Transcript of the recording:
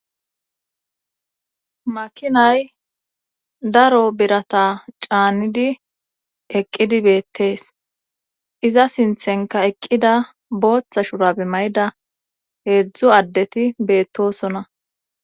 makinay daro birata caannidi eqqidi beettees iza sinthenka eqqida booththa shurabe mayda heedzdzu addeti beettosona